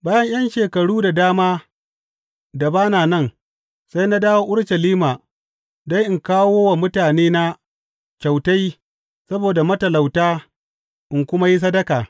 Bayan ’yan shekaru da dama da ba na nan, sai na dawo Urushalima don in kawo wa mutanena kyautai saboda matalauta in kuma yi sadaka.